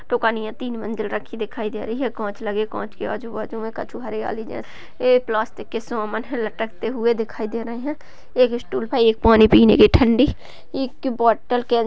दिखाई दे रही है के आजू बाजू में कछु हरियाली जैसी दिखाई दे रही है दिखाई दे रहें हैं | एक स्टूल पे एक पानी पीने की ठंडी बोटल के --